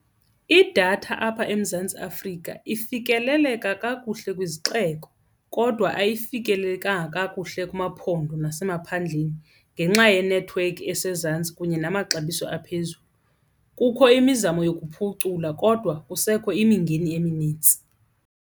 Idatha apha eMzantsi Afrika ifikeleleka kakuhle kwizixeko kodwa ayifikelelekanga kakuhle kumaphondo nasemaphandleni ngenxa yenethiwekhi esezantsi kunye namaxabiso aphezulu. Kukho imizamo yokuphucula kodwa kusekho imingeni eminintsi.